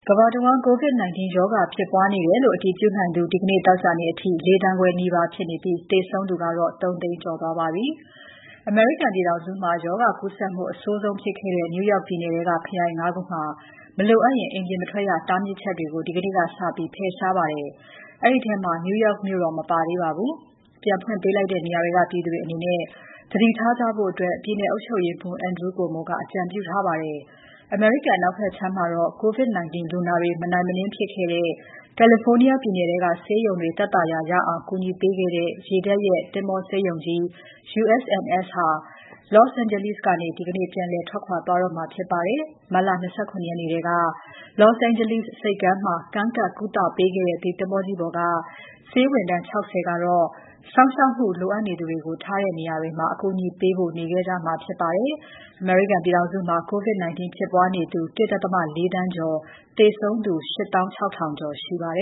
ကမ္ဘာတဝန်း COVID-19 ရောဂါဖြစ်ပွားနေတယ်လို့ အတည်ပြုနိုင်သူ ဒီနေ့ သောကြာနေ့အထိ ၄,၀၀၀,၀၀၀ ခွဲနီးပါးဖြစ်နေပြီး သေဆုံးသူကတော့ ၃၀၀,၀၀၀ ကျော်သွားပါပြီ။ အမေရိကန်ပြည်ထောင်စုမှာ ရောဂါကူးစက်မှု အဆိုးဆုံးဖြစ်ခဲ့တဲ့ New York ပြည်နယ်ထဲက ခရိုင် ၅ ခုမှာတော့ မလိုအပ်ရင် အပြင်မထွက်ရ တားမြစ်ချက်တွေကို ဒီနေ့ကစပြီး ဖယ်ရှားလိုက်ပါတယ်။ အဲဒီထဲမှာ New York မြို့တော့ မပါသေးပါဘူး။ ပြန်ဖွင့်ပေးလိုက်တဲ့ နေရာတွေက ပြည်သူတွေအနေနဲ့ သတိထားကြဖို့ ပြည်နယ် အုပ်ချုပ်ရေးမှူး Andrew Cuomo က အကြံပြုပါတယ်။ အမေရိကန်အနောက်ဘက်ခြမ်းမှာတော့ COVID-19 လူနာတွေ မနိုင်မနင်းဖြစ်ခဲ့တဲ့ California ပြည်နယ်ထဲက ဆေးရုံတွေ သက်သာရာရအောင် ကူညီခဲ့တဲ့ ရေတပ် သင်္ဘောဆေးရုံကြီး USNS ဟာ Los Angeles ကနေ ဒီကနေ့ ပြန်လည် ထွက်ခွာသွားတော့မှာ ဖြစ်ပါတယ်။ မတ်လ ၂၇ ရက်နေ့ထဲက Los Angeles ဆိပ်ကမ်းမှာ ကမ်းကပ် ကုသပေးခဲ့တဲ့ ဒီသင်္ဘောကြီးပေါ်က ဆေးဝန်ထမ်း ၆၀ ကတော့ စောင့်ရှောက်မှုလိုသူတွေကို ထားတဲ့နေရာတွေမှာ အကူအညီပေးဖို့ နေခဲ့ကြမှာဖြစ်ပါတယ်။ အမေရိကန်ပြည်ထောင်စုမှာ COVID-19 ဖြစ်ပွားနေသူ ၁.၄ သန်းကျော်၊ သေဆုံးသူ ၈၆,၀၀၀ ကျော် ရှိပါတ